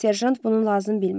Serjant bunu lazım bilmədi.